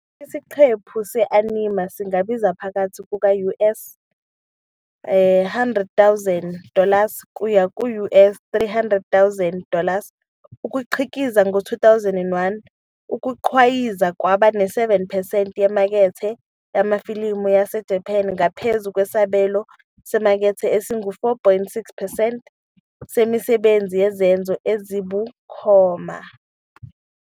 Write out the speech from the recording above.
Isiqephu se-anime singabiza phakathi kuka-US 100,000 dollars kuya ku-US 300,000 dollars ukukhiqiza. Ngo-2001, ukugqwayiza kwaba ne-7 percent yemakethe yamafilimu yaseJapan, ngaphezu kwesabelo semakethe esingu-4.6 percent semisebenzi yezenzo ezibukhoma.